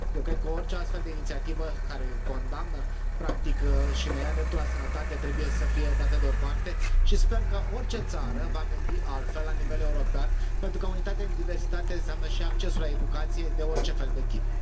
Eu cred că orice astfel de inițiativă care condamnă, practic, și ne ia dreptul la sănătate trebuie să fie dată deoparte și sper că orice țară va gândi altfel la nivel european, pentru că unitate în diversitate înseamnă și accesul la educație de orice fel de tip.